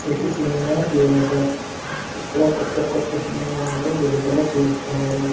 ఇది cinema theatre ఇక్కడ కొత్త కొత్త సినిమా లు విడుదల చేస్తారు.